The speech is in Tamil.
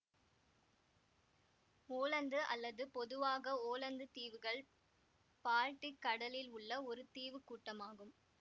ஓலந்து அல்லது பொதுவாக ஓலந்து தீவுகள் பால்டிக் கடலில் உள்ள ஒரு தீவுக்கூட்டமாகும்